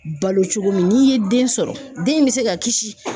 Balo cogo min n'i ye den sɔrɔ den bɛ se ka kisi.